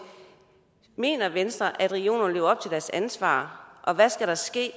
mener venstre at regionerne lever op til deres ansvar og hvad skal der ske